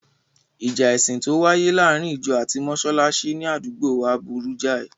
Ìjà ẹ̀sìn tó wáyé láàárín ìjọ ati mọsálásí ní àdúgbòo wa burú jáì.